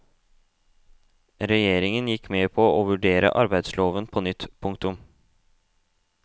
Regjeringen gikk med på å vurdere arbeidsloven på nytt. punktum